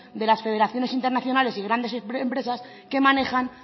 de las federaciones internacionales y grandes empresas que manejan